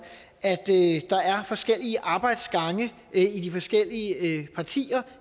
at der er forskellige arbejdsgange i de forskellige partier